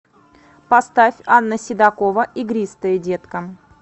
поставь анна седокова игристое детка